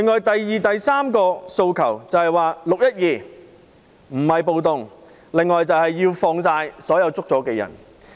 第二及第三項訴求就是說明"六一二"不是暴動及釋放所有被捕人士。